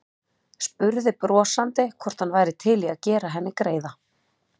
Spurði brosandi hvort hann væri til í að gera henni greiða.